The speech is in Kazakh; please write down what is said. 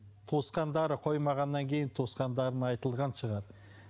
туысқандары қоймағаннан кейін туысқандарына айтылған шығар